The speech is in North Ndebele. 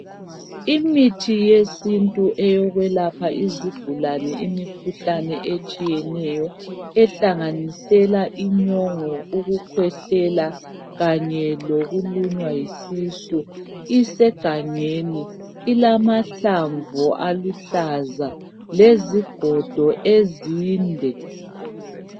Imithi yesintu eyokwelapha izigulane imikhuhlane etshiyeneyo ehlanganisela inyongo, ukukhwehlela kanye lokulunywa yisisu isegangeni ilamahlamvu aluhlaza lezigodo ezinde.